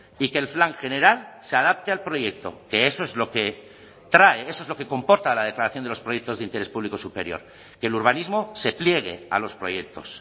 y que el plan general se adapte al proyecto que eso es lo que trae eso es lo que comporta la declaración de los proyectos de interés público superior que el urbanismo se pliegue a los proyectos